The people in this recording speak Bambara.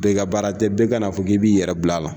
Bɛɛ ka baara tɛ, bɛɛ ka n'a fɔ k'i b'i yɛrɛ bil'a la.